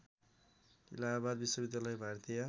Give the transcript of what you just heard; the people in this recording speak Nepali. इलाहाबाद विश्वविद्यालय भारतीय